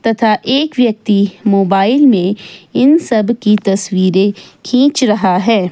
तथा एक व्यक्ति मोबाइल में इन सब की तस्वीरे खींच रहा है।